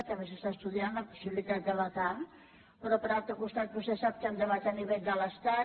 també s’està estudiant la possibilitat de becar però per altre costat vostè sap que hi ha un debat a nivell de l’estat